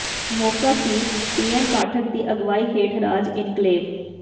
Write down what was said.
ਮੌਕਾ ਸੀ ਪੀਐੱਨ ਪਾਠਕ ਦੀ ਅਗਵਾਈ ਹੇਠ ਰਾਜ ਇਨਕਲੇਵ